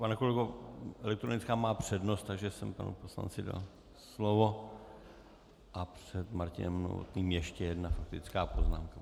Pane kolego, elektronická má přednost, takže jsem panu poslanci dal slovo a před Martinem Novotným ještě jedna faktická poznámka.